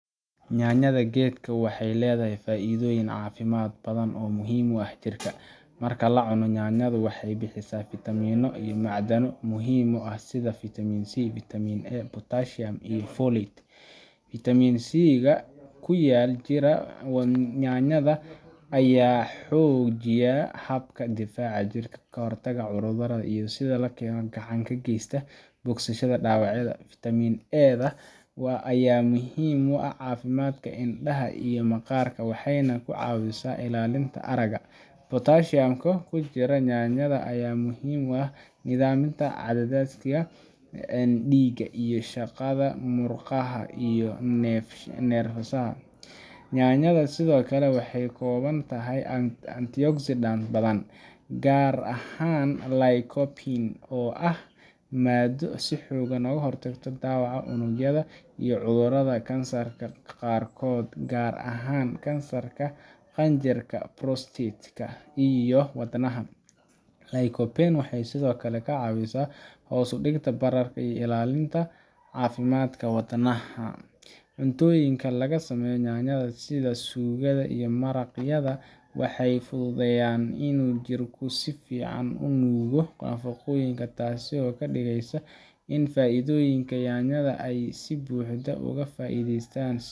nyannyada gedka wexey ledahy faidooyin caafimad badan oo muhiin uax jirka. Marka lacuno nyanyada wexey bixisa fitamiino iyo macdano muxiim u ax sida fitamin c, fitamin A, potasium iyo Folate. Fitamin C ga kuyaal jira nyanyada ayaa xojiya jhabka difaaca jirka, kahortaga cudurada iyo sida lakeno gaxan kageysta bogsashada dawacyada. fitamin A da ayaa muhiim uax cafimdka indaha iyo maqaarka wexeyna kucaawisa ilaalinta araga. Potaasiumka kujiro nyanyada ayaa muhiim uax nidaaminta cadadaaska diiga iyo shaqada, muqaha iyo nerfasaha. nyanyada sidoo kale wexey kakoobantahy antioxidant badan gaarahaan Lycopene oo ah maado si xoogan oogahortagto dawaca unugyada iyo cudurada kansarka qaarkood garahaan kansarka Prostatka' iyo wadnaha. Lycopene wexeey sidhookale kaa cawsa hoos udigta bararka iyo ilaalinta cafimadka wadnaha. Cuntooyinka lagasameeyo nyanyada sida suugada iyo maraqyada waxey fududeyaan inuu jirka sifican unuugo nafaqooyinka taasi oo kadigeysa in faidoyinka nyanyada ay si buxdo oga faideystaan.